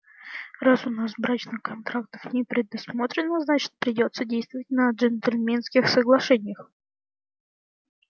раз у нас брачных контрактов не предусмотрено значит придётся действовать на джентльменских соглашениях